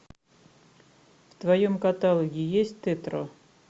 в твоем каталоге есть тетро